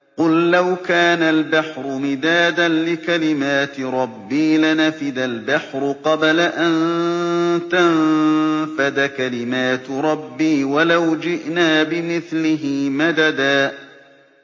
قُل لَّوْ كَانَ الْبَحْرُ مِدَادًا لِّكَلِمَاتِ رَبِّي لَنَفِدَ الْبَحْرُ قَبْلَ أَن تَنفَدَ كَلِمَاتُ رَبِّي وَلَوْ جِئْنَا بِمِثْلِهِ مَدَدًا